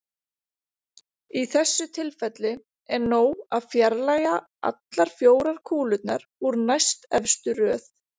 Í þessu tilfelli er nóg að fjarlægja allar fjórar kúlurnar úr næstefstu röð.